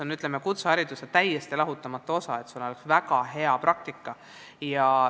Praktika on kutsehariduse täiesti lahutamatu osa, peab olema väga hea praktika.